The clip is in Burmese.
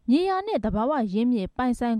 မြေယာနဲ့ သဘာဝအရင်းအမြစ် ပိုင်ဆိုင်